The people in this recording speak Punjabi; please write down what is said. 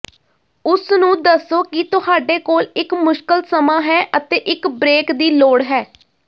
ਉਸਨੂੰ ਦੱਸੋ ਕਿ ਤੁਹਾਡੇ ਕੋਲ ਇੱਕ ਮੁਸ਼ਕਲ ਸਮਾਂ ਹੈ ਅਤੇ ਇੱਕ ਬ੍ਰੇਕ ਦੀ ਲੋੜ ਹੈ